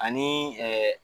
Ani ɛɛ